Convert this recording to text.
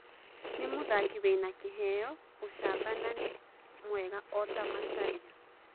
Nĩ mũthaki wĩna kĩheo, ũcamba na nĩ mwega o ta Macharia.